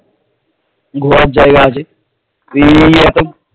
ঘোরার জায়গা আছে